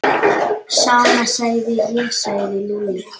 Sama segi ég sagði Lúlli.